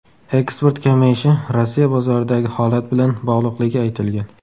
Eksport kamayishi Rossiya bozoridagi holat bilan bog‘liqligi aytilgan.